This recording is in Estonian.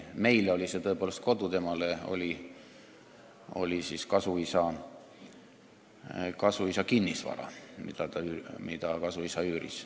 Meile oli see tõepoolest kodu, temale oli kasuisa kinnisvara, mida kasuisa üüris.